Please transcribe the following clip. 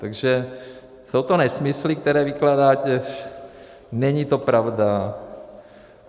Takže jsou to nesmysly, které vykládáte, není to pravda.